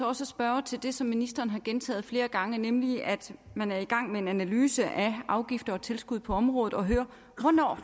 også spørge til det som ministeren har gentaget flere gange nemlig at man er i gang med en analyse af afgifter og tilskud på området og høre hvornår